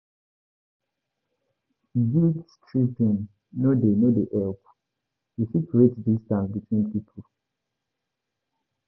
Guilt-tripping no dey no dey help; e fit create distance between pipo.